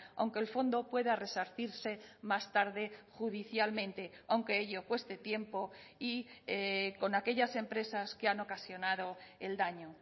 aunque el fondo pueda resarcirse más tarde judicialmente aunque ello cueste tiempo y con aquellas empresas que han ocasionado el daño